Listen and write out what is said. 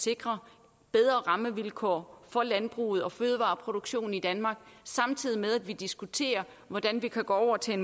sikre bedre rammevilkår for landbruget og fødevareproduktionen i danmark samtidig med at vi diskuterer hvordan vi kan gå over til